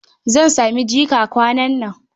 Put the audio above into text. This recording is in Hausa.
Zan sami jika kwanan nan.